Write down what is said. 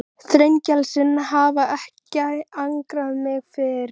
Björn Þorláksson: Þú telur að lífstíllinn breytist í kreppunni?